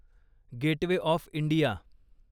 gateway of India